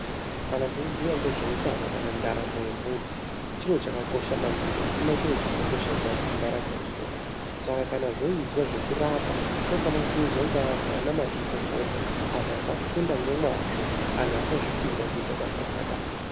Kana teibhuya ngezveutano kana ndaramo yemunhu, chiro chakakosha maningi. Hakuna chiro chakakosha kudarike ndaramo yemunhu, saka kana zvoizwa zvekurapa, zvinofana kuizwa ngeanhu anamazvikokota, anhu akafunda ngemwazvo, anhu akazvipira kuita basa rakadaro.